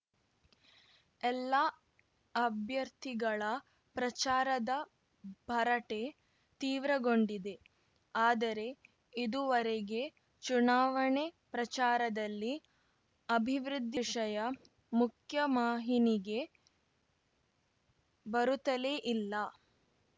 ಎಲ್ಲ ಅಭ್ಯರ್ಥಿಗಳ ಪ್ರಚಾರದ ಭರಟೆ ತೀವ್ರಗೊಂಡಿದೆ ಆದರೆ ಇದುವರೆಗೆ ಚುನಾವಣೆ ಪ್ರಚಾರದಲ್ಲಿ ಅಭಿವೃದ್ಧಿ ವಿಷಯ ಮುಖ್ಯವಾಹಿನಿಗೆ ಬರುತ್ತಲೇ ಇಲ್ಲ